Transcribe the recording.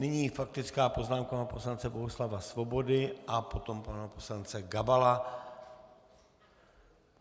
Nyní faktická poznámka pana poslance Bohuslava Svobody a potom pana poslance Gabala.